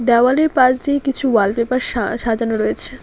দেয়ালের পাশ দিয়ে কিছু ওয়ালপেপার সা সাজানো রয়েছে।